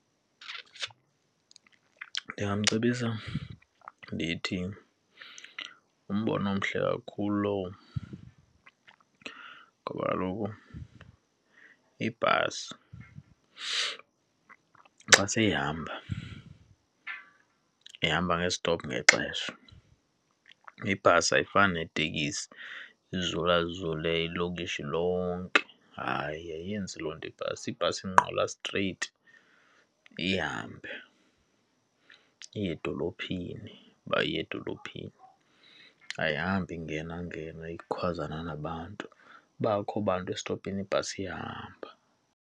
Ndingamcebisa ndithi ngumbono omhle kakhulu lowo ngoba kaloku ibhasi xa seyihamba, ihamba nge-stop nexesha. Ibhasi ayifani netekisi izulazule ilokishi lonke, hayi, ayenzi loo nto ibhasi. ibhasi ingqala straight ihambe iye edolophini uba iya edolophini. Ayihambi ingenangena ikwazana nabantu, uba akukho bantu esitopini ibhasi iyahamba.